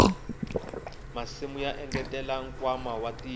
masimu ya engetela nkwama wa tiko